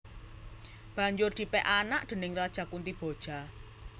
Banjur dipèk anak déning Raja Kuntiboja